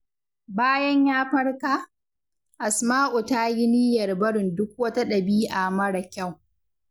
Bayan ya farka, Asma’u ta yi niyyar barin duk wata dabi’a mara kyau.